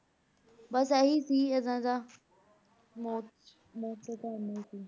ਬਸ ਇਹੀ ਸੀ ਇਹਨਾਂ ਦਾ ਮੌਤ ਮੌਤ ਦਾ ਕਾਰਨ ਇਹੀ ਸੀ।